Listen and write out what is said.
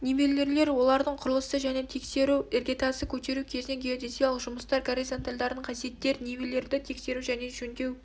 нивелирлер олардың құрылысы және тексеру іргетасты көтеру кезіндегі геодезиялық жұмыстар горизонтальдардың қасиеттері нивелирді тексеру және жөндеу